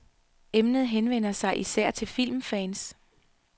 Emnet henvender sig især til filmfans.